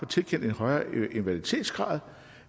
tilkendt en højere invaliditetsgrad